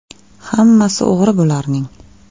“Hammasi o‘g‘ri bularning.